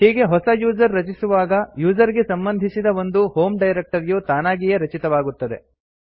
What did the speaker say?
ಹೀಗೆ ಹೊಸ ಯೂಸರ್ ರಚಿಸುವಾಗ ಯೂಸರ್ ಗೆ ಸಂಬಂಧಿಸಿದ ಒಂದು ಹೋಮ್ ಡೈರಕ್ಟರಿಯು ತಾನಾಗಿಯೇ ರಚಿತವಾಗುತ್ತದೆ